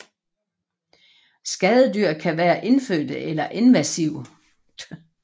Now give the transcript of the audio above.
Skadedyr kan være indfødte eller invasive